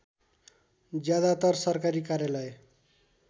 ज्यादातर सरकारी कार्यालय